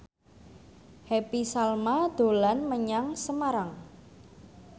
Happy Salma dolan menyang Semarang